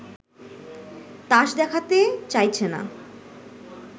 তাস দেখাতে চাইছে না